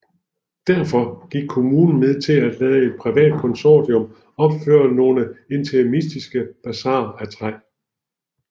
Derfor gik kommunen med til at lade et privat konsortium opføre nogle interimistiske basarer af træ